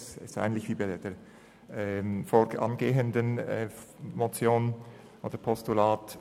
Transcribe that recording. Er lautet gleich wie bei der vorangehenden Motion beziehungsweise beim vorangehenden Postulat.